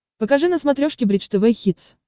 покажи на смотрешке бридж тв хитс